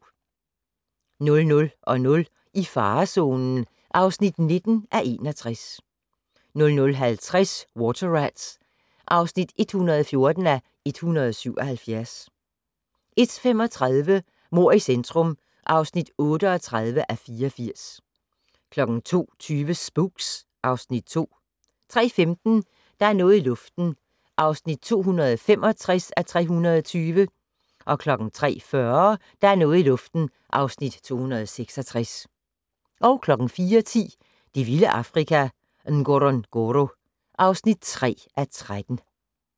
00:00: I farezonen (19:61) 00:50: Water Rats (114:177) 01:35: Mord i centrum (38:84) 02:20: Spooks (Afs. 2) 03:15: Der er noget i luften (265:320) 03:40: Der er noget i luften (266:320) 04:10: Det vilde Afrika - Ngorongoro (3:13)